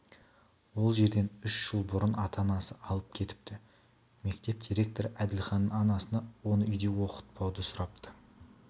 ол жерден үш жыл бұрын ата-анасы алып кетіпті мектеп директоры әділханның анасынан оны үйде оқытпауды сұрапты